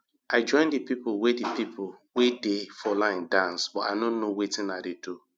i join the people wey the people wey dey for line dance but i no know wetin i dey do